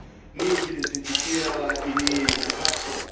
nije ih identificirala i nije ih uhapsila?